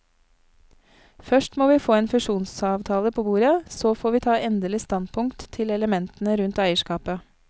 Først må vi få en fusjonsavtale på bordet, så får vi ta endelig standpunkt til elementene rundt eierskapet.